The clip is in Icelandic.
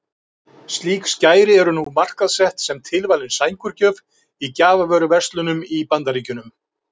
Slík skæri eru nú markaðssett sem tilvalin sængurgjöf í gjafavöruverslunum í Bandaríkjunum.